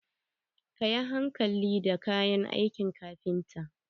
Kayi hankali da kayan aikin kafinta.